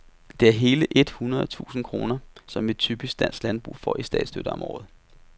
Det er hele et hundrede tusinde kroner, som et typisk dansk landbrug får i statsstøtte, om året.